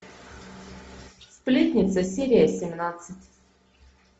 сплетница серия семнадцать